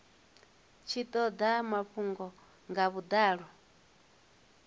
tshi toda mafhungo nga vhudalo